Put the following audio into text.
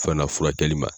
Fana furakɛli ma